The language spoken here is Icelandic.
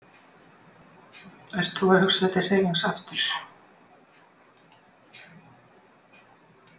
Ert þú að hugsa þér til hreyfings aftur?